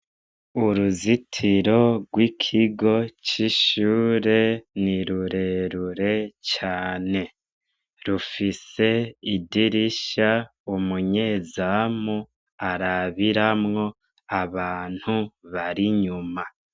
Uruzitiro gw'ikigo c'ishure ni rurerure cane, rufise idirisha umunyezamu arabiramwo abantu bari inyuma.